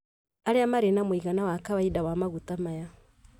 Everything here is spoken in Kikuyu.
Arĩa marĩ na mũigana wa kawaida wa maguta maya